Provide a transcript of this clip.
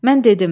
Mən dedim.